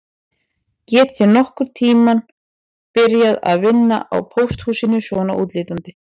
Get ég nokkurn tíma byrjað að vinna á pósthúsinu svona útlítandi